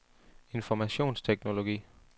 informationsteknologi